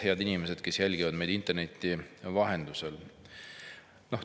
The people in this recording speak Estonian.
Head inimesed, kes te jälgite meid interneti vahendusel!